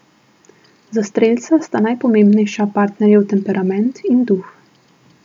Za strelca sta najpomembnejša partnerjev temperament in duh.